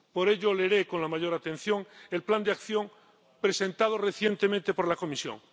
Por ello leeré con la mayor atención el plan de acción presentado recientemente por la Comisión.